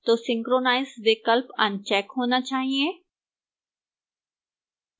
तो synchronize विकल्प uncheck होना चाहिए